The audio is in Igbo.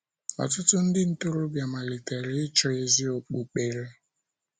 Ọtụtụ ndị ntorobịa malitere ịchọ ezi okpukpere.